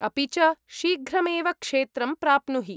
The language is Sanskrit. अपि च शीघ्रमेव क्षेत्रं प्राप्नुहि।